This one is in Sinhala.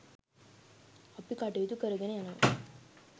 අපි කටයුතු කරගෙන යනවා